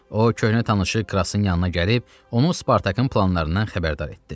O, köhnə tanışı Krassın yanına gəlib onu Spartakın planlarından xəbərdar etdi.